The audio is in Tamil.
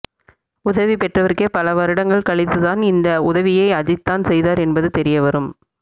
உதவி பெற்றவருக்கே பல வருடங்கள் கழித்துதான் இந்த உதவியை அஜித்தான் செய்தார் என்பது தெரியவரும்